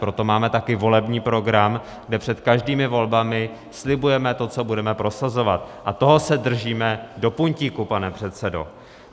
Proto máme také volební program, kde před každými volbami slibujeme to, co budeme prosazovat, a toho se držíme do puntíku, pane předsedo.